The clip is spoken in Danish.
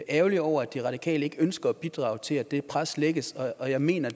ærgerlig over at de radikale ikke ønsker at bidrage til at det pres lægges og jeg mener